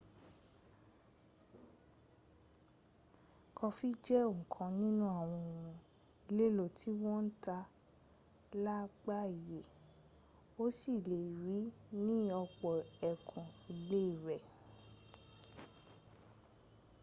kọfí jẹ́ ọ̀kan nínú àwọn ohun èlò tí wọ́n ń tà lágbàáyé o sì lè rí i ní ọ̀pọ̀ ẹkùn ilé rẹ